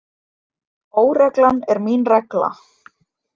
Óreglan er mín regla.